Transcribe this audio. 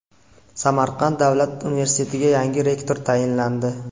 Samarqand davlat universitetiga yangi rektor tayinlandi.